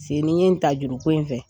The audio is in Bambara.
Se n' ye ta juruko in fɛ.